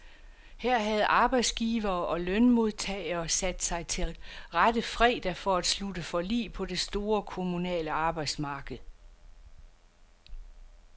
Her havde arbejdsgivere og lønmodtagere sat sig til rette fredag for at slutte forlig på det store kommunale arbejdsmarked.